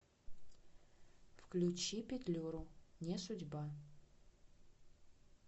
включи петлюру не судьба